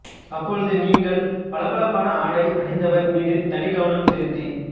அப்பொழுது நீங்கள் பளபளப்பான ஆடை அணிந்தவர்மீது தனிக் கவனம் செலுத்தி